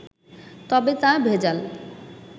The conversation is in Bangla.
তবে তা ভেজাল